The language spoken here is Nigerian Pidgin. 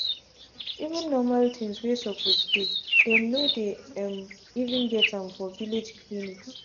even normal things wey suppose deydem no dey um even get am for village clinics.